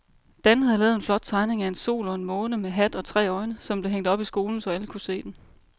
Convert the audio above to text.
Dan havde lavet en flot tegning af en sol og en måne med hat og tre øjne, som blev hængt op i skolen, så alle kunne se den.